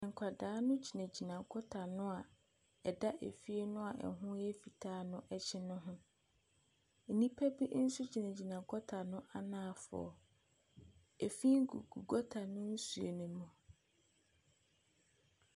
Nkwadaa no gyinagyina gɔta ano ɛda fie no a ɛho yɛ fitaa no akyi ho. Nnipa bi nso gyinagyina gɔta no anaafoɔ. Efi gugu gɔta no nsuo mu.